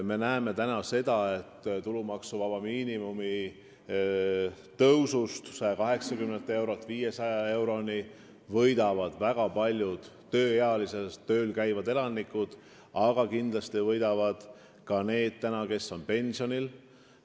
Me näeme seda, et tulumaksuvaba miinimumi tõusust 180 eurolt 500 eurole võidavad väga paljud tööealised, tööl käivad elanikud, aga kindlasti ka need, kes on pensionil.